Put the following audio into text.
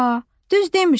A, düz demirsən.